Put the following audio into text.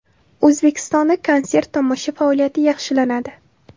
O‘zbekistonda konsert-tomosha faoliyati yaxshilanadi.